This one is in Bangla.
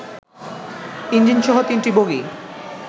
ইঞ্জিনসহ ৩টি বগি